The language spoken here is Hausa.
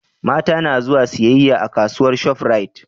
mata na zuwa siyayya a kasuwar shop rite